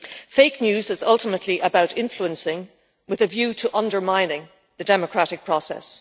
Fake news is ultimately about influencing, with a view to undermining, the democratic process.